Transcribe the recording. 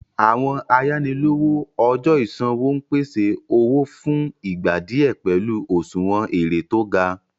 Àwọn àyànílòwò ọjọ́ ìṣanwọ́ ń pèsè owó fún ìgbà díẹ̀ pẹ̀lú òṣùwọ̀n èrè tó gá.